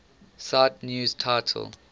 cite news title